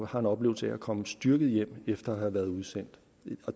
har en oplevelse af at komme styrket hjem efter at have været udsendt